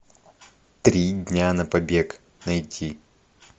три дня на побег найти